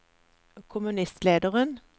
kommunistlederen